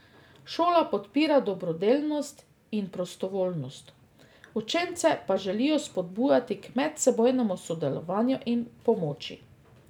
Šola podpira dobrodelnost in prostovoljnost, učence pa želijo spodbujati k medsebojnemu sodelovanju in pomoči.